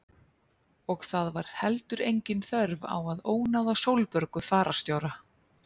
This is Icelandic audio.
Og það var heldur engin þörf á að ónáða Sólborgu fararstjóra.